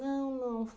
Não, não.